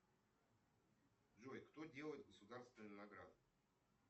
джой кто делает государственные награды